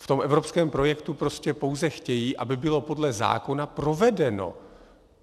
V tom evropském projektu prostě pouze chtějí, aby bylo podle zákona provedeno.